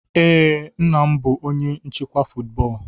Ee, nna m bụ onye nchịkwa football.